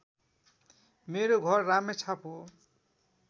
मेरो घर रामेछाप हो